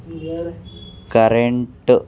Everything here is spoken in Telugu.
కరెంట్ --